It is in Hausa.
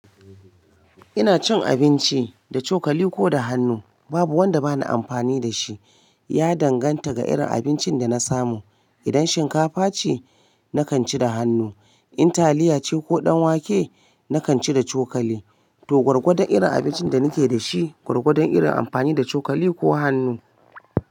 Ina cin abinci da cokali ko da hannu, babu wanda bana amfani da shi, ya danganta ga irin abincin da na samu. Idan shinkafa ce nakanci da hannu, in taliyace koh ɗanwake nakanci da cokali. To gwargwadon irin abincin da nake da shi, gwargwadon irin amfani da cokali ko hannu.